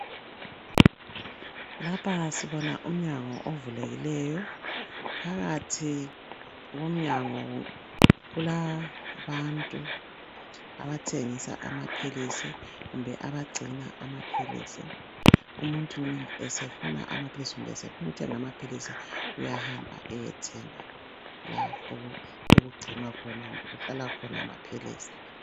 Ngapha sibona umnyango ovulekileyo phakathi komnyango kulabantu abathengisa amaphilisi kumbe abagcina amaphilisi umuntu nxa esefuna amaphilisi kumbe sefuna ukuthenga amaphilisi uyahamba ayethenga la okugcinwa khona okuhlala khona amaphilisi.